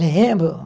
Lembro.